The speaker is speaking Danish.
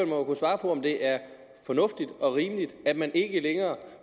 må jo kunne svare på om det er fornuftigt og rimeligt at man ikke længere